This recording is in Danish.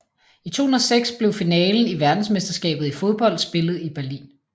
I 2006 blev finalen i verdensmesterskabet i fodbold spillet i Berlin